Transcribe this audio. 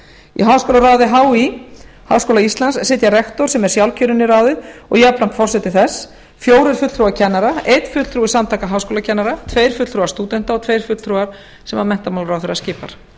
í háskólaráði hí háskóla íslands sitja rektor sem er sjálfkjörinn í ráðið og jafnframt forseti þess fjórir fulltrúar kennara einn fulltrúi samtaka háskólakennara tveir fulltrúar stúdenta og tveir fulltrúar sem menntamálaráðherra skipar